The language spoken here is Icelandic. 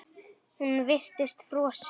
Hún virtist frosin.